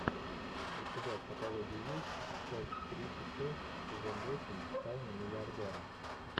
у тебя в каталоге есть часть тридцать шесть сезон восемь тайны миллиардера